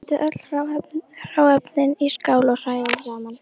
Setjið öll hráefnin í skál og hrærið saman.